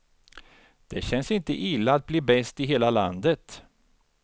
Det känns inte illa att bli bäst i hela landet.